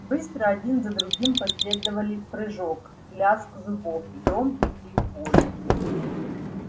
быстро один за другим последовали прыжок лязг зубов и громкий крик боли